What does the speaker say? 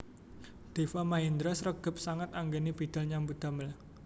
Deva Mahendra sregep sanget anggene bidhal nyambut damel